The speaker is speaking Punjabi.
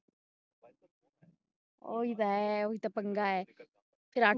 ਉਹੀ ਤੇ ਹੈ ਉਹੀ ਤੇ ਪੰਗਾ ਹੈ ਫੇਰ